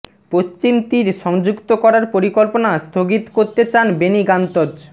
পশ্চিম তীর সংযুক্ত করার পরিকল্পনা স্থগিত করতে চান বেনি গান্তজ